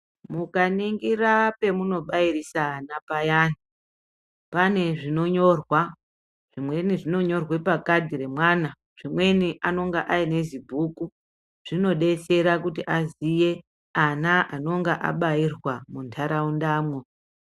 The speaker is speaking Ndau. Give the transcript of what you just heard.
Mukaningira pamunobairisa ana payani pane zvinonyorwa zvimweni zvinonyorwa pakadhi remwana zvimweni anenge ane zibhuku zvinodetsera kuti aziye ana anonga abairwa munharaundamwo.